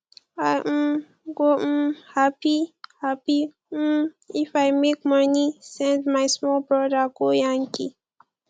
i um go um hapi hapi um if i make moni send my small broda go yankee